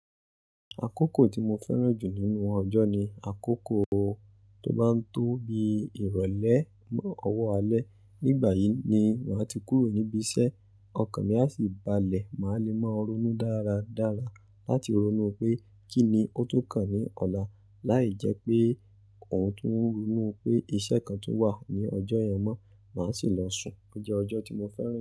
Akókò tí mo fẹ́ràn jù nínú ọjọ́ ni akókò tó bá ń tó bí ìrọ̀lẹ́ mọ ọwọ́ alẹ́. Nígbà yìí ni màá ti kúrò níbí iṣẹ́, ọkan mi a sì balẹ̀. Màá le máa ronú dáradára láti ronú pé kí ni ó tun kàn ní ọ̀la, láì jẹ́ pé n ò tún ronú pé iṣẹ́ kan tun wà ní ọjọ́ ìyẹn mọ́, mà á sì lọ sùn. Ó jẹ́ ọjọ́ tí mo fẹ́ràn.